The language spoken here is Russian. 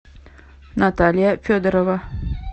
наталья федорова